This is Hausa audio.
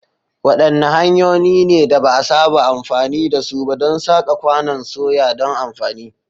Wadanne hanyoyi ne da ba a saba amfani da su ba don saka kwanon soya don amfani?